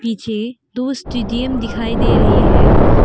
पीछे दो स्टेडियम दिखाई दे रहे हैं।